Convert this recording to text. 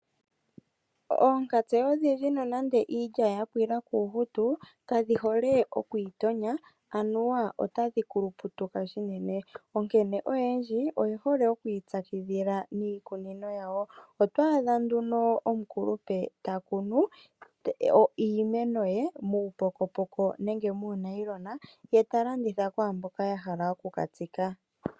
Oonkantse odhindji nonando iilya ya pwila kuuhutu, kadhi hole oku itonya, anuwa otadhi kuluputuka unene, onkene oyendji oye hole oku ipyakidhila niikunino yawo. Oto adha nduno omukulupe ta kunu iimeno ye muupokopoko nenge muunayilona ye ta landitha kwaa mboka ya hala oku ka tsika.